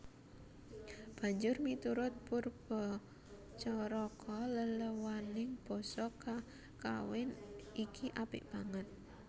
Banjur miturut Poerbatjaraka leléwaning basa kakawin iki apik banget